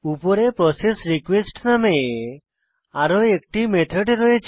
process request নামে আরো একটি মেথড রয়েছে